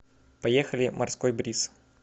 поехали морской бриз